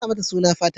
Ka sa mata suna Fatima.